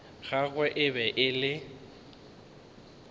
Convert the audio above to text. gagwe e be e le